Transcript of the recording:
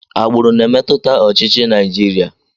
Agbụrụ na-emetụta ọchịchị Naijiria.